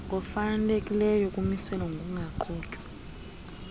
nefalekileyo kumiselwa ngokungaqhutywa